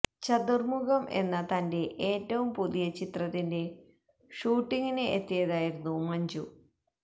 ചതുര്മുഖം എന്ന തന്റെ ഏറ്റവും പുതിയ ചിത്രത്തിന്റെ ഷൂട്ടിങ്ങിന് എത്തിയതായിരുന്നു മഞ്ജു